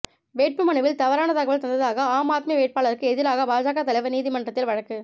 வேட்பு மனுவில் தவறான தகவல் தந்ததாக ஆம் ஆத்மிவேட்பாளருக்கு எதிராக பாஜக தலைவா் நீதிமன்றத்தில் வழக்கு